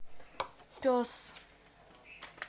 пес